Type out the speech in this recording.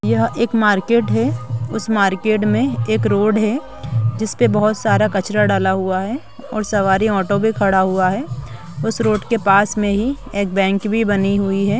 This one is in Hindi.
यह एक मार्केट है उस मार्केट में एक रोड है जिस पे बहुत सारा कचरा डाला हुआ है और सवारी ऑटो पे खड़ा है। उस रोड के पास में ही एक बैंक भी बनी हुई हैं।